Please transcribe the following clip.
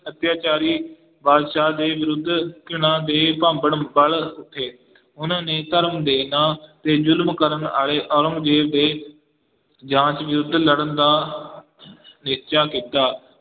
ਅਤਿਆਚਾਰੀ ਬਾਦਸ਼ਾਹ ਦੇ ਵਿਰੁੱਧ ਘ੍ਰਿਣਾ ਦੇ ਭਾਂਬੜ ਵਲ ਉੱਠੇ ਉਹਨਾਂ ਨੇ ਧਰਮ ਦੇੇ ਨਾਂ ਤੇ ਜ਼ੁਲਮ ਕਰਨ ਵਾਲੇ ਔਰੰਗਜੇਬ ਦੇ ਜਾਂਚ ਵਿਰੁੱਧ ਲੜਨ ਦਾ ਨਿਸ਼ਚਾ ਕੀਤਾ।